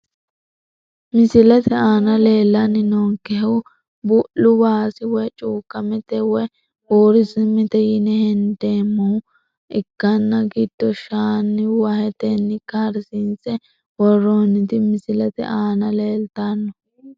Misilete aana leelani noonkehu bu`lu waasi woyi cuukamete woyi buursamete yine hendeemoha ikanna gido shaana waheteni karsiinse woroniti misilete aana leeltano.